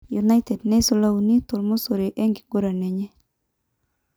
United neisula uni to mosori enkiguran enye